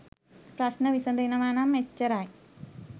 ප්‍රශ්න විසඳෙනවනම් එච්චරයි